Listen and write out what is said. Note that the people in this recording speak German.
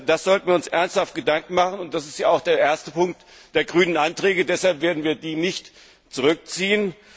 Da sollten wir uns ernsthaft Gedanken machen. Das ist ja auch der erste Punkt der grünen Anträge. Deshalb werden wir diese Anträge nicht zurückziehen.